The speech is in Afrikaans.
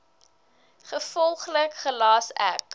gevolglik gelas ek